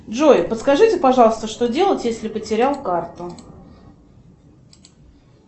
джой подскажите пожалуйста что делать если потерял карту